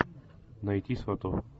найти сватов